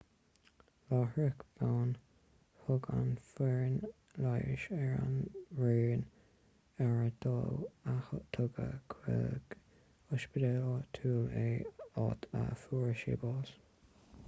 láithreach bonn thug an fhoireann leighis ar an raon aire dó agus tugadh chuig ospidéal áitiúil é áit a fuair sé bás